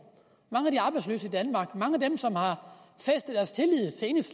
mange af de arbejdsløse i danmark mange af dem som har